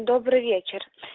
добрый вечер